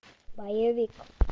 боевик